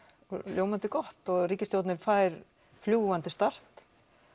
ljómandi gott og ríkisstjórnin fær fljúgandi start